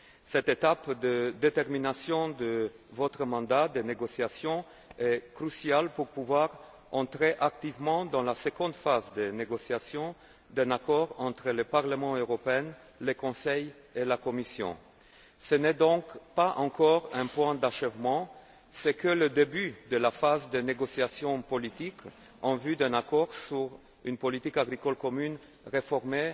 Cette étape de détermination de votre mandat de négociation est cruciale pour pouvoir entrer activement dans la seconde phase de négociation d'un accord entre le Parlement européen, le Conseil et la Commission. Ce n'est donc pas encore un point d'achèvement ce n'est que le début de la phase de négociation politique en vue d'un accord sur une politique agricole commune réformée,